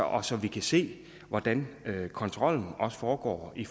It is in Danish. og så vi kan se hvordan kontrollen foregår i